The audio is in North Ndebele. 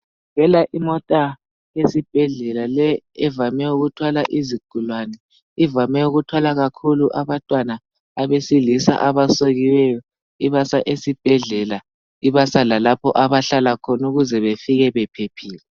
kuvela imota yezibhedlela le evame ukuthwala izigulane ivame ukuthwala kakhulu abantwana abesilisa abasokiweyo ibasa esibhedlela ibasa lalapha abahlala khona ukuze befike bephephile